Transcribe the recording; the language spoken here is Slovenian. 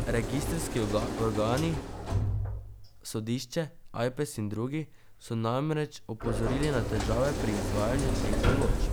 Registrski organi, sodišče, Ajpes in drugi, so namreč opozorili na težave pri izvajanju teh določb.